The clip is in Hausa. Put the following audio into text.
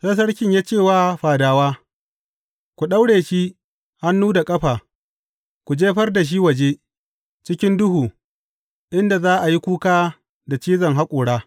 Sai sarkin ya ce wa fadawa, Ku daure shi hannu da ƙafa, ku jefar da shi waje, cikin duhu, inda za a yi kuka da cizon haƙora.’